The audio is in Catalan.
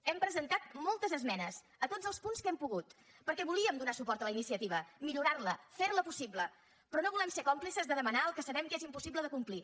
hem presentat moltes esmenes a tots els punts que hem pogut perquè volíem donar suport a la iniciativa millorar la fer la possible però no volem ser còmplices de demanar el que sabem que és impossible de complir